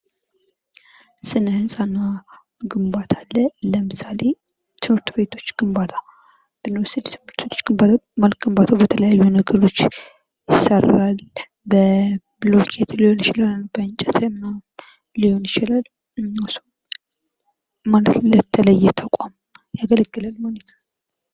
ስነህንፃ እና ግንባታ አለ ።ለምሳሌ ትምህርት ቤቶች ግንባታ ብንወስድ ግንባታው በተለያዩ ነገሮች ይሰራል። በብሎኬት ሊሆን ይችላል ፣ በእንጨት ምናምን ሊሆን ይችላል። ማለት ለተለየ ተቋም ያገለግላል ማለት ነዉ።